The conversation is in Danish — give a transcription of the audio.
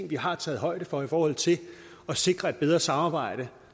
vi har taget højde for i forhold til at sikre et bedre samarbejde